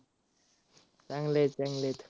चांगलेत चांगलेत.